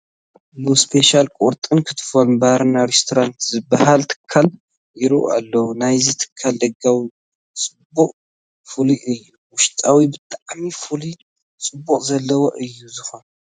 ሉ ስፔሻል ቁርጥና ክትፎ ባርና ሬስቶራንት ዝበሃል ትካል ይርአ ኣሎ፡፡ ናይዚ ትካል ደጋዊ ፅባቐ ፍሉይ እዩ፡፡ ውሽጡማ ብጣዕሚ ፍሉይ ፅባቐ ዘለዎ እዩ ዝኾን፡፡